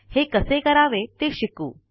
हे कसे करावे ते शिकू